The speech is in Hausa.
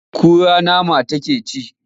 Eh kura nama take ci.